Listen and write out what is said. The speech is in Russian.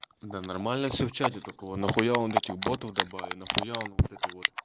да нормально все в чате только он ахуел от этих ботов добавил нахуя он вот это вот